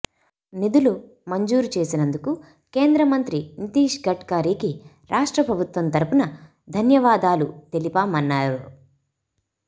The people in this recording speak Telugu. నిధులు మంజూరు చేసినందుకు కేంద్ర మంత్రి నితీష్ గడ్కరికి రాష్ట్ర ప్రభుత్వం తరఫున ధన్యవాదాలు తెలిపామన్నారు